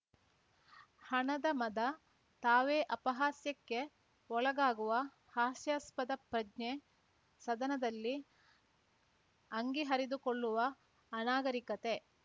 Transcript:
ಹಣದ ಮದ ತಾವೇ ಅಪಹಾಸ್ಯಕ್ಕೆ ಒಳಗಾಗುವ ಹಾಸ್ಯಾಸ್ಪದ ಪ್ರಜ್ಞೆ ಸದನದಲ್ಲಿ ಅಂಗಿ ಹರಿದುಕೊಳ್ಳುವ ಅನಾಗರಿಕತೆ